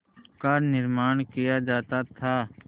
का निर्माण किया जाता था